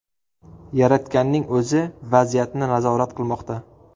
Yaratganning o‘zi vaziyatni nazorat qilmoqda.